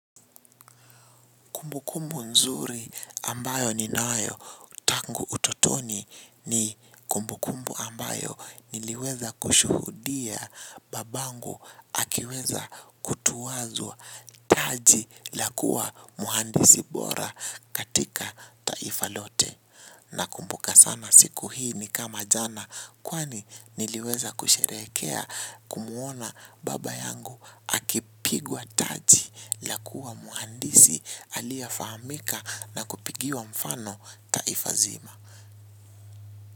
Kumbukumbu nzuri ambayo ninayo tangu utotoni ni kumbukumbu ambayo niliweza kushuhudia babangu akiweza kutuwazwa taji la kuwa mhandisi bora katika taifa lote nakumbuka sana siku hii ni kama jana kwani niliweza kusherehekea kumuona baba yangu akipigwa taji la kuwa mhandisi aliyefahamika na kupigiwa mfano taifa nzima.